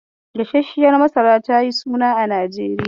Gasarshiyar masara tayi suna a Najeriya.